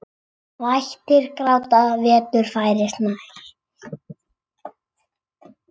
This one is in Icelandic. Vættir gráta, vetur færist nær.